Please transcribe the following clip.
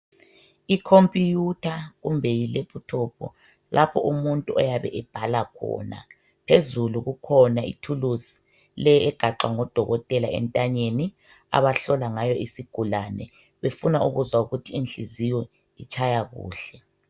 Ikhompuyutha kumbe yilephuthophu lapho umuntu oyabe ebhala khona, phezulu kukhona ithuluzi le egaxwa ngodokotela entanyeni abahlola ngayo isigulane befuna ukuzwa ukuthi inhliziyo itshaya kuhle.